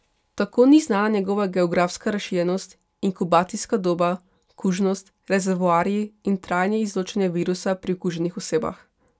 Tako ni znana njegova geografska razširjenost, inkubacijska doba, kužnost, rezervoarji in trajanje izločanje virusa pri okuženih osebah.